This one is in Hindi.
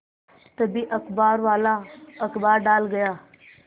तभी अखबारवाला अखबार डाल गया